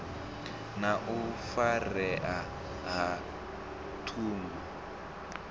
na u farea ha ṱhungu